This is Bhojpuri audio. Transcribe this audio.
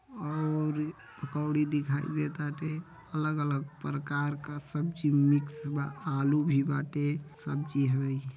और पकौड़ी दिखाई देता टे अलग-अलग प्रकार क सब्जी मिक्स बा आलू भी बाटे सब्जी हउए।